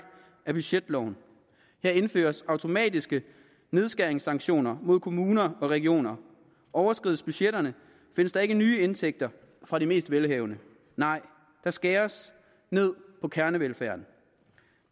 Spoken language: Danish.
er budgetloven her indføres automatiske nedskæringssanktioner mod kommuner og regioner overskrides budgetterne findes der ikke nye indtægter fra de mest velhavende nej der skæres ned på kernevelfærden